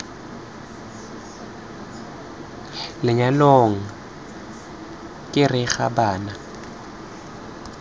lenyalong k g r bana